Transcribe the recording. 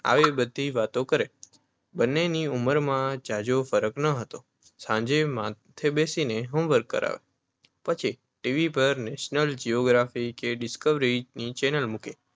આવી બધી વાતો કરે. બંનેની ઉંમરમાં ઝાઝો ફરક નહોતો. સાંજે માથે બેસીને હોમવર્ક કરાવે પછી ટી. વી. પર નૅશનલ જ્યોગ્રાફિક કે ડિસ્કવરી ચૅનલ મૂકે.